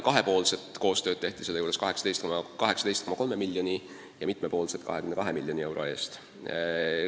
Kahepoolset koostööd tehti 18,3 miljoni eest ja mitmepoolset koostööd 22 miljoni euro eest.